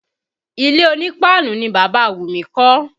Ilé onípáánù ni Bàbá Wumi kọ́